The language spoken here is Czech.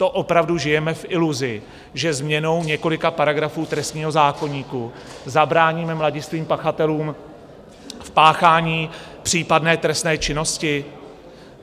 To opravdu žijeme v iluzi, že změnou několika paragrafů trestního zákoníku zabráníme mladistvým pachatelům v páchání případné trestné činnosti?